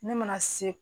Ne mana se